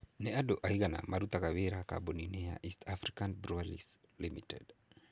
Nĩ andũ aigana marutaga wĩra kambuni-inĩ ya East African Breweries Limited?